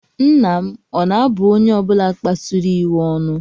Nna m ọ̀ na-abu onye ọ bụla kpasuru ya iwe ọnụ?